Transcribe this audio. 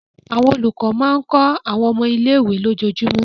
Àwọn olùkọ́ máa ń kọ́ àwọn ọmọ ilé-ìwé lójoojúmọ́.